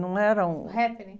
Não era um... m Happening.